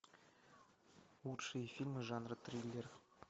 лучшие фильмы жанра триллер